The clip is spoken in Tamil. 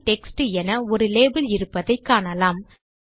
ஹெல்ப் டெக்ஸ்ட் என ஒரு லேபல் இருப்பதை காணலாம்